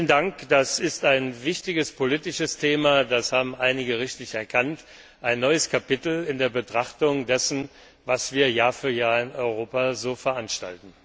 Vielen Dank. Das ist ein wichtiges politisches Thema das haben einige richtig erkannt und ein neues Kapitel in der Betrachtung dessen, was wir Jahr für Jahr in Europa veranstalten.